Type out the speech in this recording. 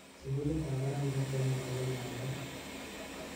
Sugulitab barak nebo Kenyatta komater.